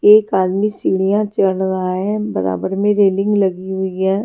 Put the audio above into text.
एक आदमी सीढ़ियाँ चढ़ रहा है बराबर में रेलिंग लगी हुई है।